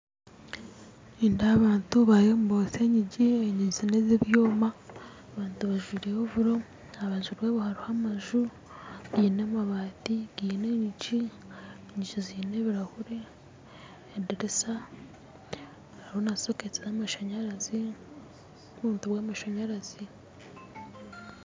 Nindeeba abantu bariyo nibotsya enyigi enyigi nezebyoma bajwaire ovoro aharubaju rwabo hariho amaju gaine amabaati gaine enyigi enyigi zaine ebirahuri edirisa hariho nana soketi zamasanyarazi